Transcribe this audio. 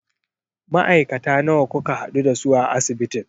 Ma'aikata nawa kuka haɗu da su a asibitin?